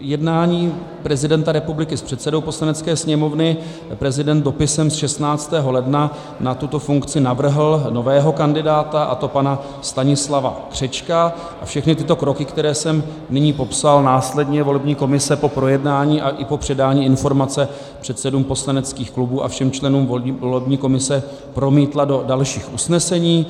jednání prezidenta republiky s předsedou Poslanecké sněmovny prezident dopisem z 16. ledna na tuto funkci navrhl nového kandidáta, a to pana Stanislava Křečka, a všechny tyto kroky, které jsem nyní popsal, následně volební komise po projednání a i po předání informace předsedům poslaneckých klubů a všem členům volební komise promítla do dalších usnesení.